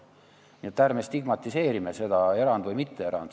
Nii et ärme stigmatiseerime seda, kas erand või mitteerand.